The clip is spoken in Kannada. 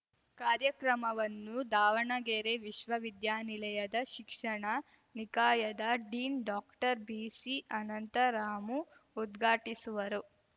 ಕಾರ್ಯಕ್ರಮವನ್ನು ದಾವಣಗೆರೆ ವಿಶ್ವವಿದ್ಯಾನಿಲಯದ ಶಿಕ್ಷಣ ನಿಕಾಯದ ಡೀನ್‌ ಡಾಕ್ಟರ್ಬಿಸಿ ಅನಂತರಾಮು ಉದ್ಘಾಟಿಸುವರು